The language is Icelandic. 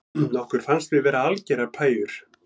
Okkur fannst við vera algerar pæjur